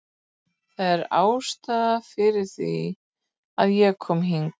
Þetta er ástæðan fyrir því að ég kom hingað.